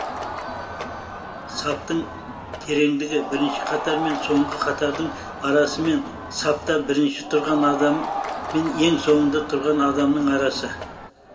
саптың тереңдігі бірінші қатар мен соңғы қатардың арасымен сапта бірінші тұрған адам мен ең соңында тұрған адамның арасы